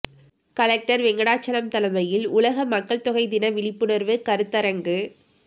collector Venkatachalam தலைமையில் உலக மக்கள்தொகை தின விழிப்புணர்வு கருத்தரங்கு